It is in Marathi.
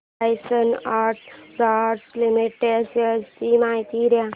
लार्सन अँड टुर्बो लिमिटेड शेअर्स ची माहिती दे